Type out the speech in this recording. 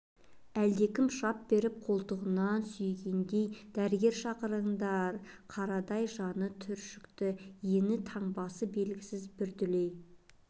әлдекім шап беріп қолтығынан сүйегендей дәрігер шақырыңдар қарадай жаны түршікті ені-таңбасы белгісіз бір дүлей